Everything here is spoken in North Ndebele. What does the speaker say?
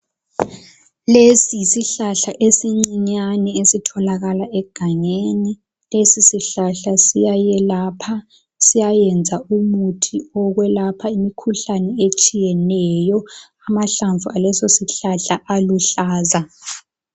Lesi yisihlahla esincinyane esitholakala eganyeni. Lesi sihlahla siyayelapha, siyayenza umuthi owokwelapha imikhuhlane etshiyeneyo. Amahlamvu aso aluhlaza.